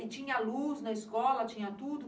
E tinha luz na escola, tinha tudo?